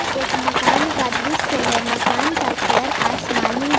एक मकान का दृश्य है मकान का कलर आसमानी।